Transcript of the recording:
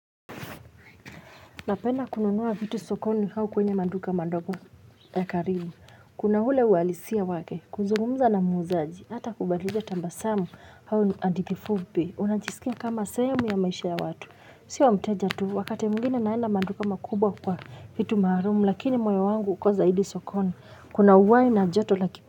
Napenda kununuwa vitu sokoni hau kwenye maduka mandogo ya karibu. Kuna hule uhalisia wake kuzungumza na muuzaji. Hata kubadilja tambasamu hau ni adithi fupi. Unajiskia kama sehemu ya maisha ya watu. Sio mteja tu. Wakati mwingine naenda manduka makubwa kwa vitu maharumu. Lakini moyo wangu uko zaidi sokoni. Kuna uwai na joto la kip.